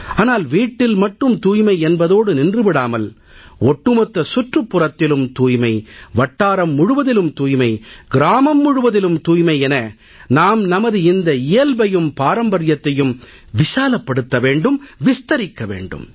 ஆனால் வீட்டில் மட்டும் தூய்மை என்பதோடு நின்று விடாமல் ஒட்டுமொத்த சுற்றுப்புறத்திலும் தூய்மை வட்டாரம் முழுவதிலும் தூய்மை கிராமம் முழுவதிலும் தூய்மை என நாம் நமது இந்த இயல்பையும் பாரம்பர்யத்தையும் விசாலப்படுத்த வேண்டும் விஸ்தரிக்க வேண்டும்